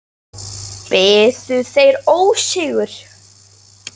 Biðu þeir ósigur.